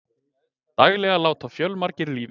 Daglega láti fjölmargir lífið